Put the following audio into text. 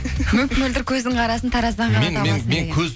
мөп мөлдір көздің қарасын тараздан